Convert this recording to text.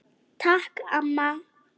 Takk amma.